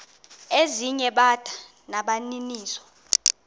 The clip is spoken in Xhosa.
ezinye bada nabaninizo